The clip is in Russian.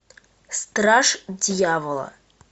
страж дьявола